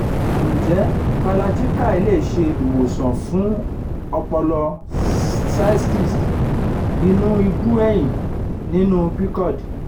nje kalarchikai le se iwosan fun opolopo cysts inu ibu eyin ninu pcod?